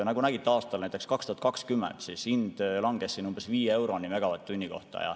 Nagu nägite aastal 2020, hind langes umbes 5 euroni megavatt-tunni kohta.